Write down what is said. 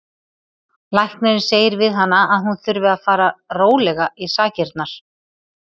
Læknirinn segir við hana að hún þurfi að fara rólega í sakirnar.